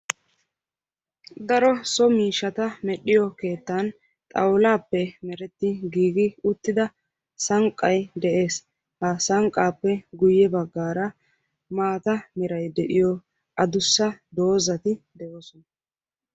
daro so miishshata medhdhiyoo keettan xaawullappe meretti giigi uttida sankkay de'ees; ha sankkappe guyye baggara mata meray de'iyoo addussa doozati de'oosona.